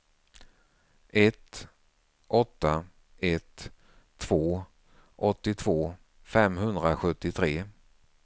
ett åtta ett två åttiotvå femhundrasjuttiotre